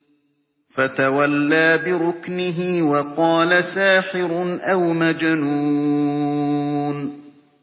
فَتَوَلَّىٰ بِرُكْنِهِ وَقَالَ سَاحِرٌ أَوْ مَجْنُونٌ